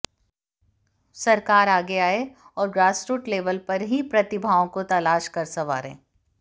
सरकार आगे आए और ग्रासरूट लेवल पर ही प्रतिभाओं को तलाश कर संवारे